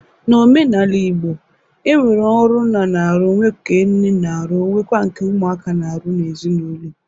N'omenala Igbo, e nwere ọrụ nna na-arụ, nwe nke nne na-arụ, nwekwa nke ụmụaka na-arụ n'ezinaulọ.